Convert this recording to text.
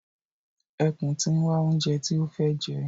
Ẹkùn ti ń wá oúnjẹ tí ó fẹ́ jẹ.